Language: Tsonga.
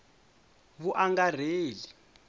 vuangarheli